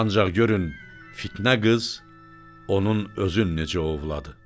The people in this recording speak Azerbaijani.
Ancaq görün fitnə qız onun özün necə ovladı.